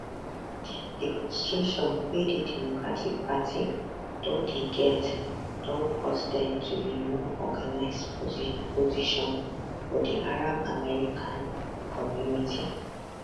di frustration wey di democratic party don dey get don cause dem to be more organised opposition for di arab american community